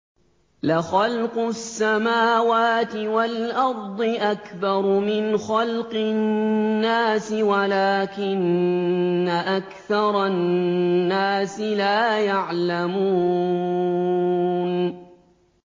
لَخَلْقُ السَّمَاوَاتِ وَالْأَرْضِ أَكْبَرُ مِنْ خَلْقِ النَّاسِ وَلَٰكِنَّ أَكْثَرَ النَّاسِ لَا يَعْلَمُونَ